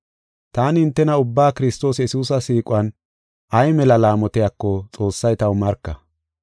Taani hintena ubbaa Kiristoos Yesuusa siiquwan ay mela laamotiyako Xoossay taw marka.